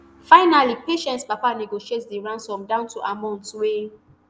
finally patience papa negotiate di ransom down to amount wey